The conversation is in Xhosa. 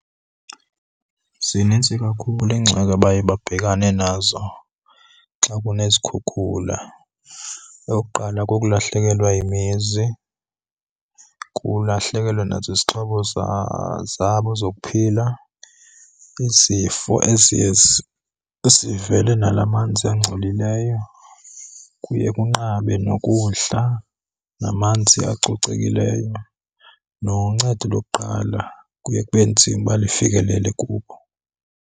Zinintsi kakhulu iingxaki abaye babhekane nazo xa kunezikhukhula. Eyokuqala kukulahlekelwa yimizi, kukulahlekelwa nazizixhobo zabo zokuphila. Izifo eziye zivele nala manzi angcolileyo, kuye kunqabe nokudla namanzi acocekileyo, noncedo lokuqala kuye kube nzima uba lufikelele kubo.